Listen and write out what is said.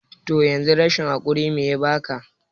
toh yanzu rashin hakuri mai yabaka?